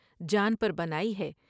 جان پر بن آئی ہے